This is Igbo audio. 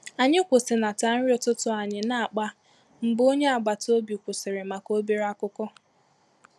Ànyị kwụsịnata nri ụtụtụ anyị na akpa mgbe ònye agbata obi kwụsịrị maka obere akụkọ